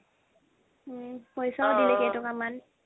আ' পইচাও দিলে কেই টকা মান